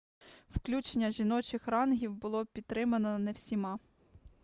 включення жіночих рангів було пітримано не всіма